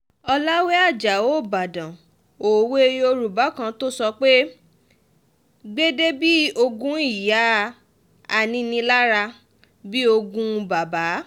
ọ̀làwé ajáò ìbàdàn òwe yorùbá kan tó sọ pé gbédè bíi ogún ìyá aninilára bíi ogún bàbà